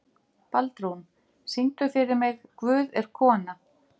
Baldrún, syngdu fyrir mig „Guð er kona“.